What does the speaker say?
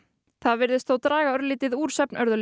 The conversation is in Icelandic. það virðist þó draga örlítið úr